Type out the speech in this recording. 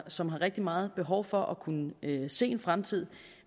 som har rigtig meget behov for at kunne se en fremtid